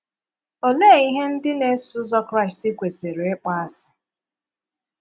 Òlee ihe ndị na - esò ụzọ̀ Kraịst kwesịrị íkpò àsị?